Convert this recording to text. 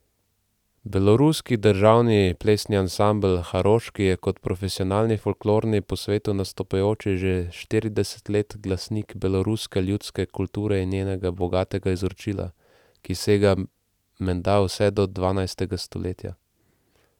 Beloruski državni plesni ansambel Haroški je kot profesionalni folklorni po svetu nastopajoči že štirideset let glasnik beloruske ljudske kulture in njenega bogatega izročila, ki sega menda vse do dvanajstega stoletja.